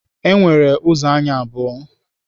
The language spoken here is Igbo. E nwere ụzọ anya abụọ